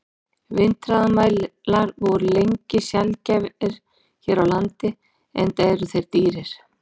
Vindhraðamælar voru lengi sjaldgæfir hér á landi, enda eru þeir dýrir.